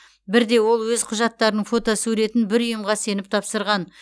бірде ол өз құжаттарының фотосуретін бір ұйымға сеніп тапсырған